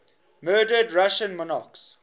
murdered russian monarchs